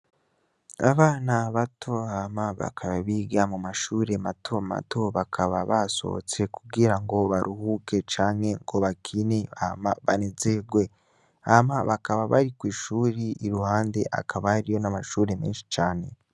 Abana bato Hama bakaba biga mu mashure mato mato, bakaba basohotse kugira ngo baruhuke canke ngo bakine hama banezerwe. Hama bakaba bari kw'ishuri iruhande hakaba hariyo n'amashuri menshi cane.